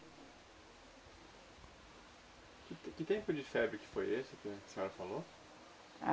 Que t que tempo de febre que foi esse que a senhora falou?